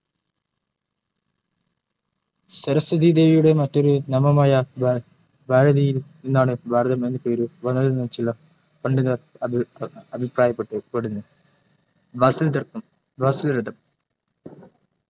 സരസ്വതി ദേവിയുടെ മറ്റൊരു നാമമായ ഭാരതിയിൽ നിന്നാണ് ഭാരതം എന്ന് പേര് വന്നതെന്നും ചില പണ്ഡിതർ അഭിപ്രായപ്പെട്ടു പെടുന്ന ഭസ്സിൽ രതം